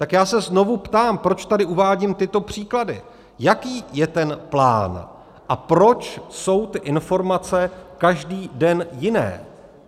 Tak já se znovu ptám - proč tady uvádím tyto příklady - jaký je ten plán a proč jsou ty informace každý den jiné?